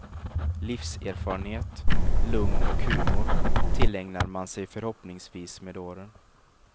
Livserfarenhet, lugn och humor tillägnar man sig förhoppningsvis med åren.